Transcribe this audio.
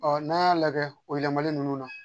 Ɔ n'an y'a lajɛ o yɛlɛmali nunnu na